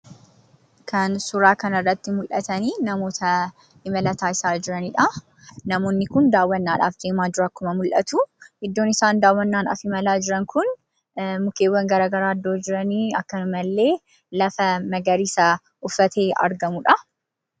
Kan suuraa kanarratti mul'atan namoota imala taasisaa jiranidhaa. Namoonni kun daawwannaadhaaf deemaa jiru akkuma mul'atuu. Iddoon isaan daawwannaadhaaf deemaa jiran kun mukkeewwan garaagaraa iddoo jiran akkasumallee lafa magariisa uffatee argamudha.